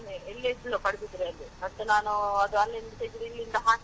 ಹಾಗೇನೇ ಇಲ್ಲೇ ಇದ್ಲು ಪಡುಬಿದ್ರಿಯಲ್ಲಿ, ಮತ್ತೆ ನಾನು ಅದು ಅಲ್ಲಿಂದ ತೆಗ್ದು ಇಲ್ಲಿಂದ ಹಾಕಿದು.